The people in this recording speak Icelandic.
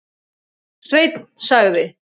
Sveinn sagði.